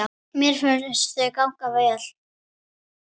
Mér finnst þau ganga vel.